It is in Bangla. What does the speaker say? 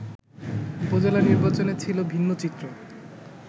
উপজেলা নির্বাচনে ছিল ভিন্নচিত্র